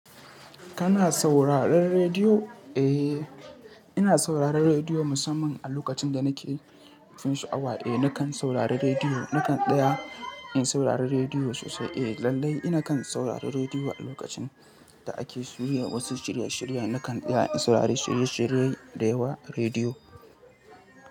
Kana sauraron rediyo? Eh, ina sauraron rediyo musamman a lokacin da nake fin sha'awa. Eh, nakan saurari rediyo. Nakan tsaya in saurari rediyo sosai. Eh, lallai ina kan saurari rediyo a lokacin da ake soya wasu shirye shirye. Nakan tsaya in saurari shirye shirye da yawa a rediyo.